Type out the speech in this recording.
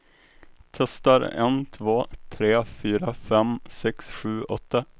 Testar en två tre fyra fem sex sju åtta.